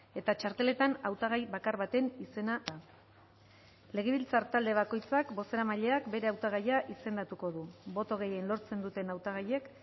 eta txarteletan hautagai bakar baten izena idatziko da legebiltzar talde bakoitzak bozeramaileak bere hautagaia izendatuko du boto gehien lortzen duten hautagaiak